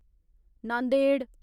Nanded